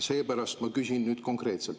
Seepärast ma küsin nüüd konkreetselt.